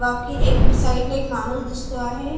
बाकी एक साईडला एक माणूस दिसतो आहे .